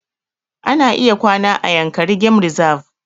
Ana iya kwana a yankari game reserve